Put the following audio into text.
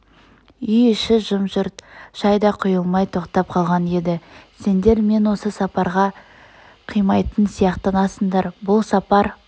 үй-іші жым-жырт шай да құйылмай тоқтап қалған еді сендер мен осы сапарға қимайтын сияқтанасыңдар бұл сапар